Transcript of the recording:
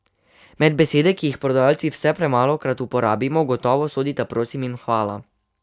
Med besede, ki jih prodajalci vse premalokrat uporabimo, gotovo sodita prosim in hvala.